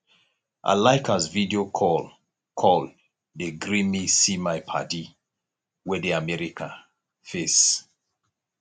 i like as video call call dey gree me see my paddy wey dey america face